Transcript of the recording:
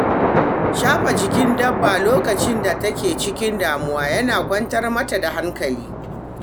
Shafa jikin dabba lokacin da take cikin damuwa yana kwantar mata da hankali.